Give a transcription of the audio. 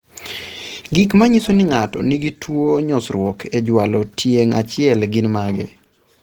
Gik manyiso ni ng'ato nigi tuwo nyosruok e jwalo tieng' achiel gin mage?